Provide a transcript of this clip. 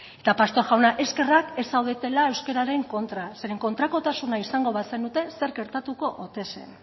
eta pastor jauna eskerrak ez zaudetela euskararen kontra zeren kontrakotasuna izango bazenute zerk gertatuko ote zen